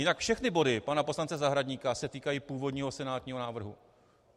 Jinak všechny body pana poslance Zahradníka se týkají původního senátního návrhu.